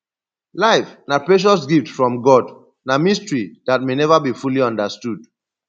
life na precious gift from god na mystery dat may never be fully understood